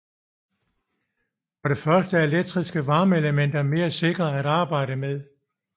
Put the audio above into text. For det første er elektriske varmeelementer mere sikre at arbejde med